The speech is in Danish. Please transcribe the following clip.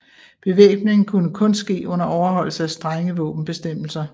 Bevæbning kunne kun ske under overholdelse af strenge våbenbestemmelser